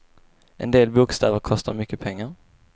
En del bokstäver kostar mycket pengar.